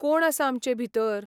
कोण आसा आमचे भितर?